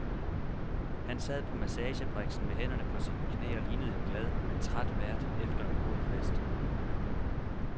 Han sad på massagebriksen med hænderne på sine knæ og lignede en glad, men træt vært efter en god fest.